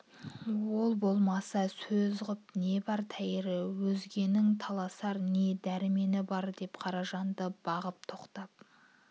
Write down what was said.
ол болмаса сөз ғып не бар тәйірі өзгенің таласар не дәрмені бар деп қаражанды бағып тоқтап